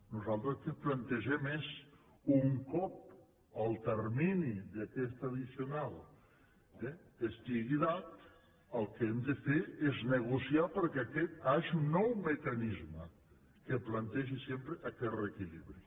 nosaltres el que plantegem és un cop el termini d’aquesta addicional estigui dat el que hem de fer és negociar perquè hi hagi un nou mecanisme que plantegi sempre aquest reequilibri